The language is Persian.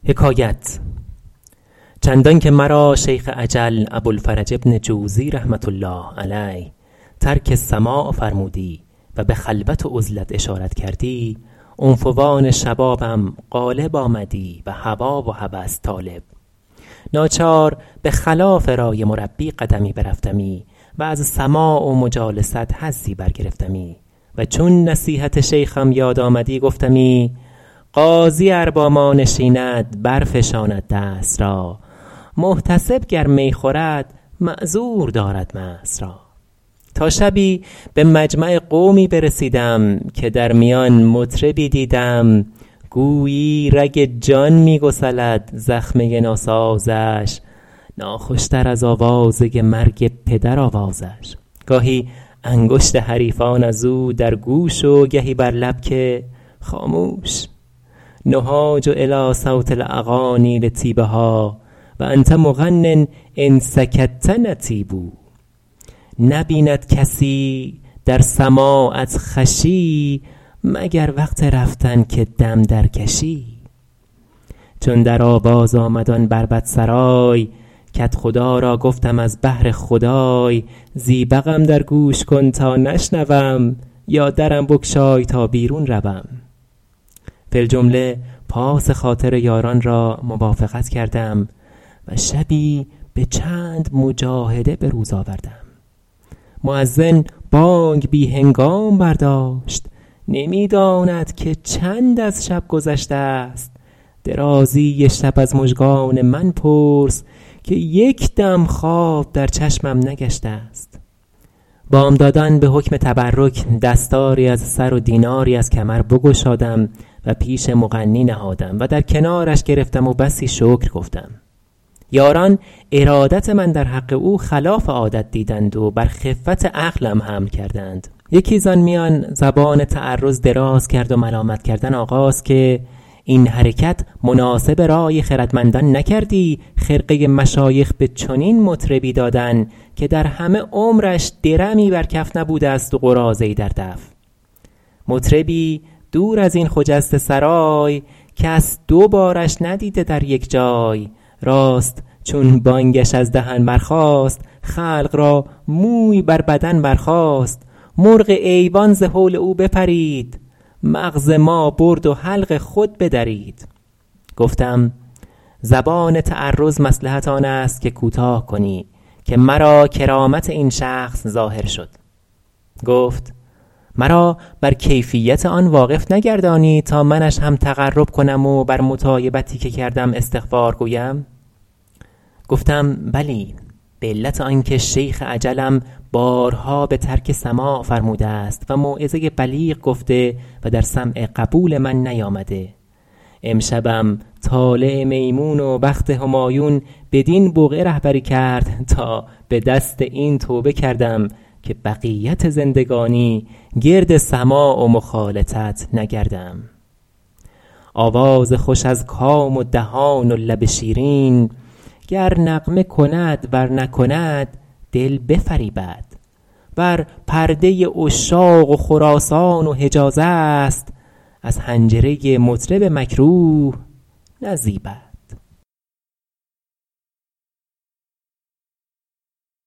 چندان که مرا شیخ اجل ابوالفرج بن جوزی رحمة الله علیه ترک سماع فرمودی و به خلوت و عزلت اشارت کردی عنفوان شبابم غالب آمدی و هوا و هوس طالب ناچار به خلاف رای مربی قدمی برفتمی و از سماع و مجالست حظی برگرفتمی و چون نصیحت شیخم یاد آمدی گفتمی قاضی ار با ما نشیند برفشاند دست را محتسب گر می خورد معذور دارد مست را تا شبی به مجمع قومی برسیدم که در میان مطربی دیدم گویی رگ جان می گسلد زخمه ناسازش ناخوش تر از آوازه مرگ پدر آوازش گاهی انگشت حریفان از او در گوش و گهی بر لب که خاموش نهاج الیٰ صوت الاغانی لطیبها و انت مغن ان سکت نطیب نبیند کسی در سماعت خوشی مگر وقت رفتن که دم درکشی چون در آواز آمد آن بربط سرای کدخدا را گفتم از بهر خدای زیبقم در گوش کن تا نشنوم یا درم بگشای تا بیرون روم فی الجمله پاس خاطر یاران را موافقت کردم و شبی به چند مجاهده به روز آوردم مؤذن بانگ بی هنگام برداشت نمی داند که چند از شب گذشته است درازی شب از مژگان من پرس که یک دم خواب در چشمم نگشته است بامدادان به حکم تبرک دستاری از سر و دیناری از کمر بگشادم و پیش مغنی نهادم و در کنارش گرفتم و بسی شکر گفتم یاران ارادت من در حق او خلاف عادت دیدند و بر خفت عقلم حمل کردند یکی زآن میان زبان تعرض دراز کرد و ملامت کردن آغاز که این حرکت مناسب رای خردمندان نکردی خرقه مشایخ به چنین مطربی دادن که در همه عمرش درمی بر کف نبوده است و قراضه ای در دف مطربی دور از این خجسته سرای کس دو بارش ندیده در یک جای راست چون بانگش از دهن برخاست خلق را موی بر بدن برخاست مرغ ایوان ز هول او بپرید مغز ما برد و حلق خود بدرید گفتم زبان تعرض مصلحت آن است که کوتاه کنی که مرا کرامت این شخص ظاهر شد گفت مرا بر کیفیت آن واقف نگردانی تا منش هم تقرب کنم و بر مطایبتی که کردم استغفار گویم گفتم بلی به علت آن که شیخ اجلم بارها به ترک سماع فرموده است و موعظه بلیغ گفته و در سمع قبول من نیامده امشبم طالع میمون و بخت همایون بدین بقعه رهبری کرد تا به دست این توبه کردم که بقیت زندگانی گرد سماع و مخالطت نگردم آواز خوش از کام و دهان و لب شیرین گر نغمه کند ور نکند دل بفریبد ور پرده عشاق و خراسان و حجاز است از حنجره مطرب مکروه نزیبد